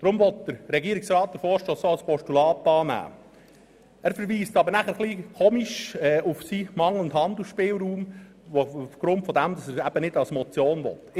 » Er verweist dann aber auf seinen eingeschränkten Handlungsspielraum, weshalb er die Motion nur als Postulat annehmen will.